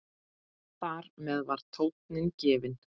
Þar með var tónninn gefinn.